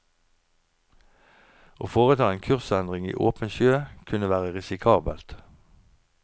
Å foreta en kursendring i åpen sjø kunne være risikabelt.